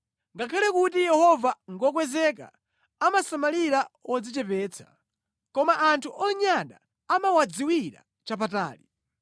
Ngakhale kuti Yehova ngokwezeka, amasamalira odzichepetsa, koma anthu onyada amawadziwira chapatali.